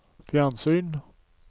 fjernsyn